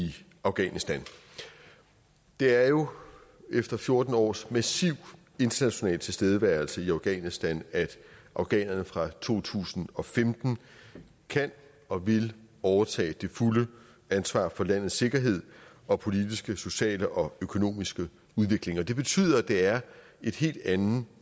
afghanistan det er jo efter fjorten års massiv international tilstedeværelse i afghanistan at afghanerne fra to tusind og femten kan og vil overtage det fulde ansvar for landets sikkerhed og politiske sociale og økonomiske udvikling og det betyder at det er en helt anden